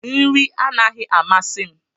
Nri anaghị amasị m.